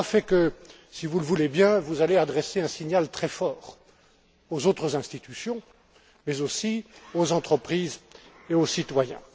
Et tout cela fait que, si vous le voulez bien, vous allez adresser un signal très fort aux autres institutions, mais aussi aux entreprises et aux citoyens.